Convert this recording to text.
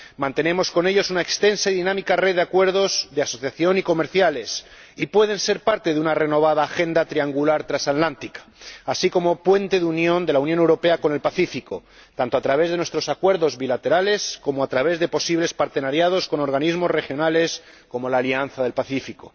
mantenemos con ellos una extensa y dinámica red de acuerdos de asociación y comerciales y pueden ser parte de una renovada agenda triangular trasatlántica así como puente de unión entre la Unión Europea y el Pacífico, tanto a través de nuestros acuerdos bilaterales como a través de posibles asociaciones con organismos regionales como la Alianza del Pacífico.